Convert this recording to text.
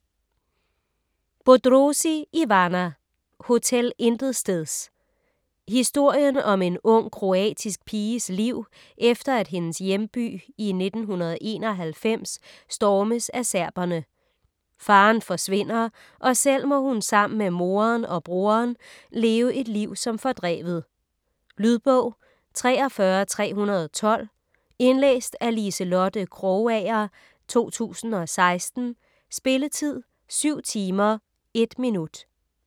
Bodrozi, Ivana: Hotel Intetsteds Historien om en ung kroatisk piges liv efter at hendes hjemby i 1991 stormes af serberne. Faderen forsvinder, og selv må hun sammen med moderen og broderen leve et liv som fordrevet. Lydbog 43312 Indlæst af Liselotte Krogager, 2016. Spilletid: 7 timer, 1 minutter.